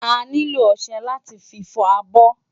Ániló òṣè láti fi fò ábò